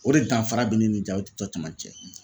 O de danfara bɛ ni jaw cɔ caman cɛ.